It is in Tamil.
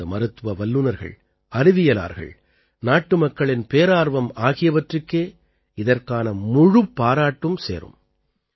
நமது மருத்துவ வல்லுநர்கள் அறிவியலார்கள் நாட்டுமக்களின் பேரார்வம் ஆகியவற்றுக்கே இதற்கான முழுப் பாராட்டும் சேரும்